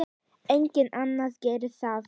Enginn annar gerir það.